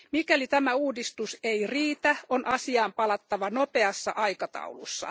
Mikäli tämä uudistus ei riitä, on asiaan palattava nopeassa aikataulussa.